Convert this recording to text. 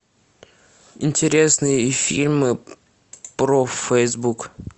интересные фильмы про фейсбук